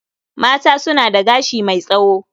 Mata suna da gashi mai tsawo.